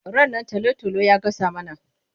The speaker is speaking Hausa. Rannan talo-talo ya gasa mana.